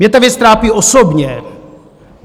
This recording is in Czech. Mě ta věc trápí osobně.